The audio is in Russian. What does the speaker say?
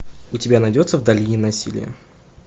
у тебя найдется в долине насилия